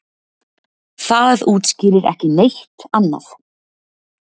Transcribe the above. Það útskýrir ekki neitt annað.